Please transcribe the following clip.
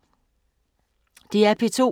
DR P2